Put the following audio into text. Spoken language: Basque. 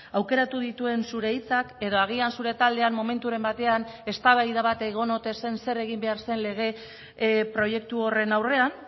aukeratu dituen zure hitzak edo agian zure taldean momenturen batean eztabaida bat egon ote zen zer egin behar zen lege proiektu horren aurrean